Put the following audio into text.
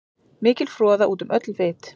Mikil froða út um öll vit.